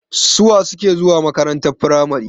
su wa suke zuwa makarantar firamare?